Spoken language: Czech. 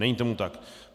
Není tomu tak.